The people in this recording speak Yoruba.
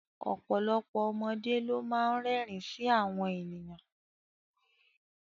Ọ̀pọ̀lọpọ̀ ọmọdé ló má ń rẹ́rìn ín sí àwọn ènìyàn